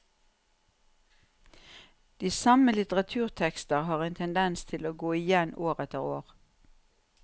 De samme litteraturtekster har en tendens til å gå igjen år etter år.